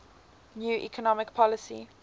new economic policy